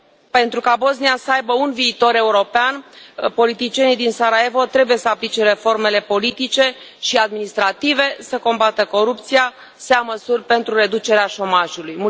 Pentru ca Bosnia să aibă un viitor european, politicienii din Sarajevo trebuie să aplice reformele politice și administrative, să combată corupția, să ia măsuri pentru reducerea șomajului.